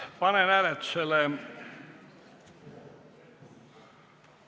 Panen hääletusele ...